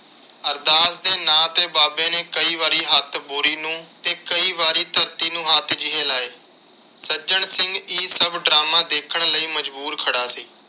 ਅਰਦਾਸ ਦੇ ਨਾਂ ਤੇ ਬਾਬੇ ਨੇ ਕਈ ਵਾਰੀ ਹੱਥ ਬੋਰੀ ਨੂੰ ਤੇ ਕਈ ਵਾਰੀ ਧਰਤੀ ਨੂੰ ਹੱਥ ਜਿਹੇ ਲਾਏ। ਸੱਜਣ ਸਿੰਘ ਇਹ ਸਭ drama ਦੇਖਣ ਲਈ ਮਜਬੂਰ ਖੜਾ ਸੀ।